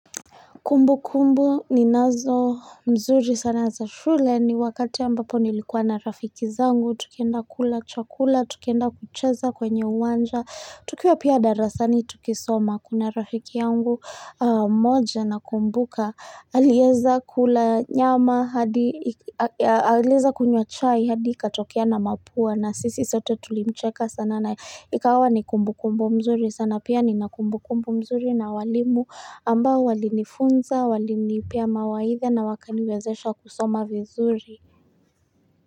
Kumbukumbu ninazo mzuri sana za shule ni wakati ambapo nilikuwa na rafiki zangu, tukienda kula chakula, tukienda kucheza kwenye uwanja, tukiwa pia darasani tukisoma kuna rafiki yangu mmoja nakumbuka alieza kula nyama, alieza kunywa chai, hadi ikatokea na mapua na sisi sote tulimcheka sana na ikawa ni kumbu kumbu mzuri sana pia nina kumbu kumbu mzuri na walimu ambao walinifunza walinipea mawaidha na wakaniwezesha kusoma vizuri.